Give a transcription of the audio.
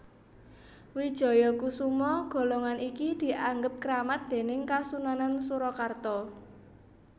Wijayakusuma golongan iki dianggep kramat déning Kasunanan Surakarta